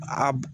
A